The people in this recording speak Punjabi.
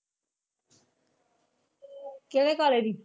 ਕਿਹੜੇ ਕਾਲੇ ਦੀ?